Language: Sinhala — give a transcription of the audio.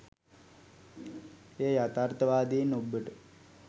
එය යථාර්තවාදයෙන් ඔබ්බට